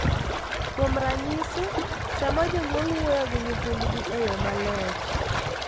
Kuom ranyisi, sama jonyuol wuoyo gi nyithindgi e yo maler .